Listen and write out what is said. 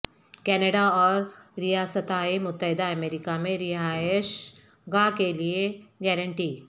Canada اور ریاستہائے متحدہ امریکہ میں رہائش گاہ کے لئے گارنٹی